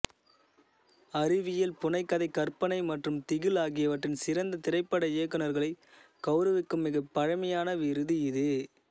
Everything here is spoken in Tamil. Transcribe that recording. அறிவியல் புனைகதை கற்பனை மற்றும் திகில் ஆகியவற்றின் சிறந்த திரைப்பட இயக்குனர்களை கவுரவிக்கும் மிகப் பழமையான விருது இது